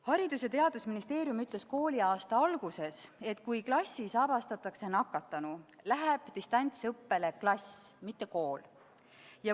Haridus- ja Teadusministeerium ütles kooliaasta alguses, et kui klassis avastatakse nakatunu, läheb distantsõppele klass, mitte kool.